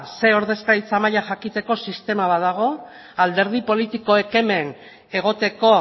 zer ordezkaritza maila jakiteko sistema badago alderdi politikoek hemen egoteko